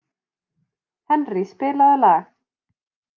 Henrý, spilaðu lag.